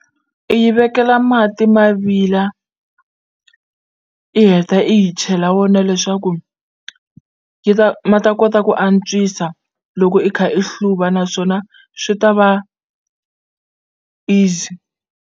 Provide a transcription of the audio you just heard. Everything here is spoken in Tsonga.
I yi vekela mati ma vila i heta i yi chela wona leswaku yi ta ma ta kota ku antswisa loko i kha i hluva naswona swi ta va easy.